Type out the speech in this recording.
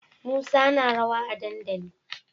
Musa na rawa a dandali